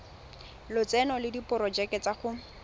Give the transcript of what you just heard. lotseno le diporojeke tsa go